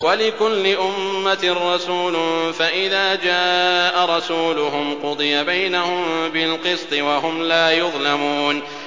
وَلِكُلِّ أُمَّةٍ رَّسُولٌ ۖ فَإِذَا جَاءَ رَسُولُهُمْ قُضِيَ بَيْنَهُم بِالْقِسْطِ وَهُمْ لَا يُظْلَمُونَ